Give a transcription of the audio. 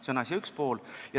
See on asja üks pool.